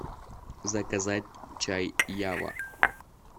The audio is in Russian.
заказать чай ява